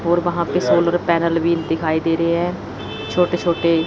और वहां पे सोलर पैनल भी दिखाई दे रहे हैं छोटे छोटे--